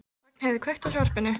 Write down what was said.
Ragnheiður, kveiktu á sjónvarpinu.